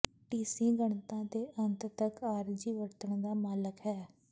ਟੀਸੀ ਗਣਨਾ ਦੇ ਅੰਤ ਤਕ ਆਰਜ਼ੀ ਵਰਤਣ ਦਾ ਮਾਲਕ ਹੈ